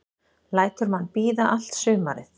Lætur mann bíða allt sumarið.